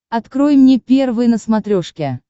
открой мне первый на смотрешке